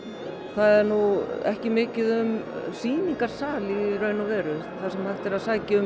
er nú ekki mikið um sýningarsali í raun og veru þar sem hægt er að sækja um